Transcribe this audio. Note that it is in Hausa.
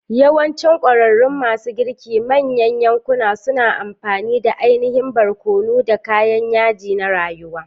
Yawancinm ƙwararrun masu girkin manyan yankuna suna amfani da ainihin barkono, da kayan yaji na rayuwa.